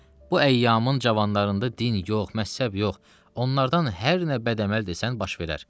Bu əyyamın cavanlarında din yox, məzhəb yox, onlardan hər nə bəd əməl desən baş verər.